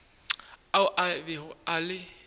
ao a bego a le